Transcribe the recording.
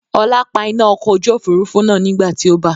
Ọlá pa iná ọkọ̀ ojú Òfurufú náà nígbàti ó bà.